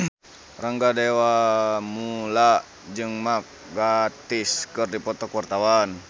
Rangga Dewamoela jeung Mark Gatiss keur dipoto ku wartawan